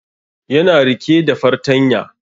Ya na rike da fartanya